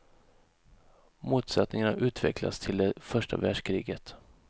Motsättningarna utvecklas till det första världskriget.